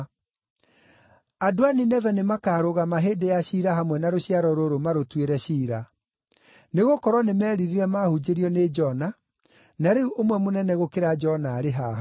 Andũ a Nineve nĩmakarũgama hĩndĩ ya ciira hamwe na rũciaro rũrũ marũtuĩre ciira; nĩgũkorwo nĩmeririre maahunjĩirio nĩ Jona, na rĩu ũmwe mũnene gũkĩra Jona arĩ haha.